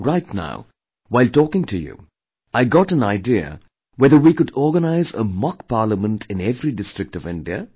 Right now, while taking to you I got an idea whether we could organize a mock parliament in every district of India